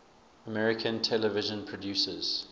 american television producers